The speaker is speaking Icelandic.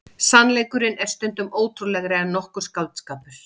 Sannleikurinn er stundum ótrúlegri en nokkur skáldskapur.